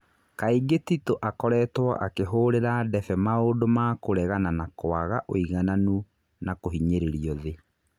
Kaingĩ Titũ akoretwo akĩhũrira ndebe maũndũ ma kũregana na kwaga ũigananu na kũhinyĩrĩrio thĩ.